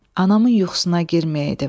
Anamın yuxusuna girməyeydim.